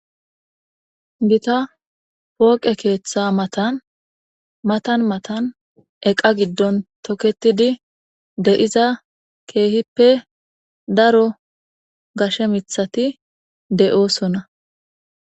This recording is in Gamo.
gita pooqe keeththa matan matan matan eqa giddon toketidi de7iza keehippe daro gashe mithati de'oosonna